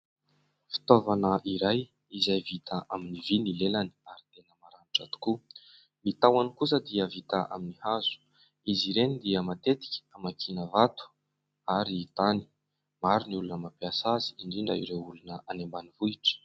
Fitaovana iray izay vita amin'ny vy ny lelany ary tena maranitra tokoa. Ny tahony kosa dia vita amin'ny hazo. Izy ireny dia matetika hamakina vato ary tany. Maro ny olona mampiasa azy, indrindra ireo olona any ambanivohitra.